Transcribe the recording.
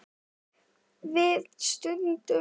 Við studdum þá!